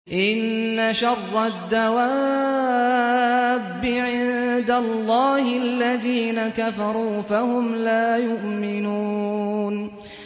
إِنَّ شَرَّ الدَّوَابِّ عِندَ اللَّهِ الَّذِينَ كَفَرُوا فَهُمْ لَا يُؤْمِنُونَ